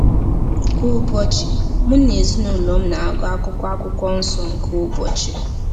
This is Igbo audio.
Kwa ụbọchị, mụ na ezinụlọ m na-agụ akụkụ Akwụkwọ Nsọ nke ụbọchị.